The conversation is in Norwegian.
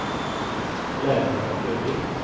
Laura Løvik